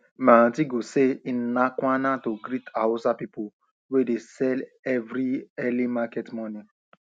my aunty go say ina kwana to greet hausa people wey de sell every early market morning